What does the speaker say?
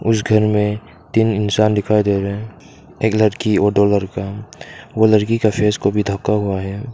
उस घर में तीन इंसान दिखाई दे रहे एक लड़की और दो लड़का वो लड़की का फेस को भी ढका हुआ है।